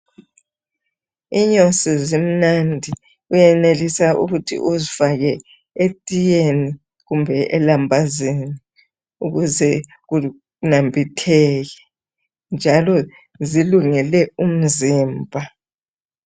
Inyosi zimnandi, uyenelisa ukuthi uzifake etiyeni kumbe elambazini ukuze kunambitheke njalo zilungele umzimba.